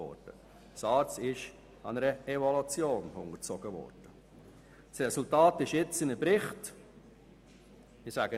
Die SARZ wurde einer Evaluation unterzogen und darüber ein Bericht erstellt.